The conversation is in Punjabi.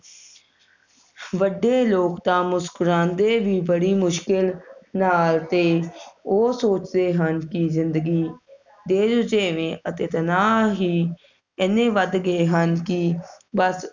ਵੱਡੇ ਲੋਕ ਤਾ ਮੁਸੱਕੁਰਾਂਦੇ ਵੀ ਬੜੀ ਮੁਸ਼ਕਿਲ ਨਾਲ ਤੇ ਉਹ ਸੋਚਦੇ ਹਨ ਕਿ ਜਿੰਦਗੀ ਦਿਲਜਿਵੇ ਅਤੇ ਤਣਾਅ ਹੀ ਏਨੇ ਵੱਧ ਗਏ ਹਨ ਕਿ ਬੱਸ